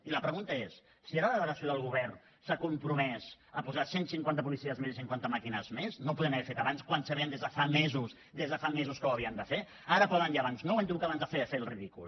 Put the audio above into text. i la pregunta és si ara la delegació del govern s’ha compromès a posar cent cinquanta policies més i cinquanta màquines més no ho podien haver fet abans quan sabien des de fa mesos des de fa mesos que ho havien de fer ara poden i abans no hem hagut d’acabar fent el ridícul